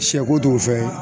Sɛko t'o fɛn ye